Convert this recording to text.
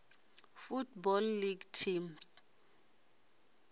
football league teams